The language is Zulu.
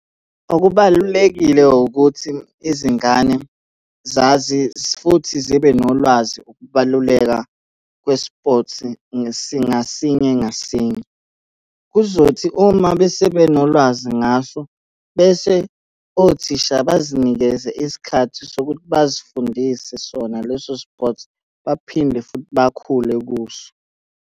Okubalulekile wukuthi izingane zazi futhi zibe nolwazi ukubaluleka kwe-sport ngasinye ngasinye. Kuzothi uma besebenolwazi ngaso, bese othisha bazinikeze isikhathi sokuthi bazifundise sona leso sport, baphinde futhi bakhule kuso.